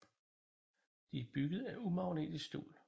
De er bygget af umagnetisk stål